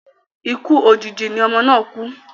Ikú òjijì ni ọmọ náà kú